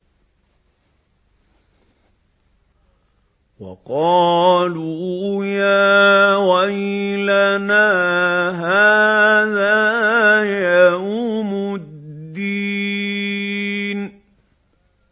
وَقَالُوا يَا وَيْلَنَا هَٰذَا يَوْمُ الدِّينِ